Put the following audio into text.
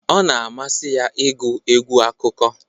Ọ na amasị ya ịgụ egwu akụkọ